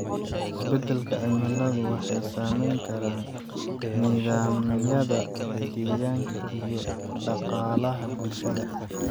Isbeddelka cimilada wuxuu saameyn karaa nidaamyada deegaanka iyo dhaqaalaha bulshada.